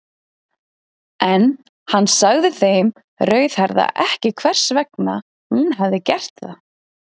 En hann sagði þeim rauðhærða ekki hvers vegna hún hefði gert það.